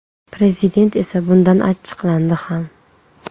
Prezident esa bundan achchiqlandi ham.